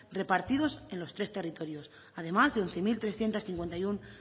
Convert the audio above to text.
repartidos en los tres territorios además de once mil trescientos cincuenta y uno